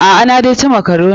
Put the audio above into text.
A'a, na dai ci makaroni.